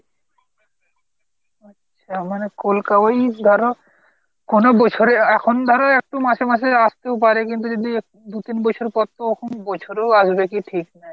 আচ্ছা মানে কলকা মানে ওই ধরো কোনো বছরে এখন ধরো একটু মাসে মাসে আস্তে ও পারে কিন্তু যদি দু তিন বছর পর তো তখন বছরেও আসবে কিনা ঠিক নাই।